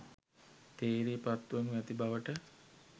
තේරී පත් වනු ඇති බවට